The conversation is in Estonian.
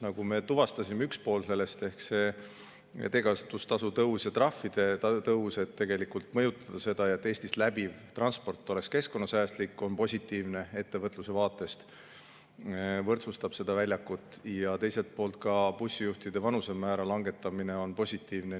Nagu me tuvastasime, üks pool sellest ehk teekasutustasu tõus ja trahvide tõus võib tegelikult mõjutada seda, et Eestit läbiv transport on keskkonnasäästlik, see on positiivne ja ettevõtluse vaatest võrdsustab seda väljakut, ja teiselt poolt ka bussijuhtide vanusemäära langetamine on positiivne.